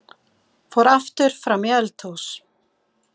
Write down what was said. Fór aftur fram í eldhús.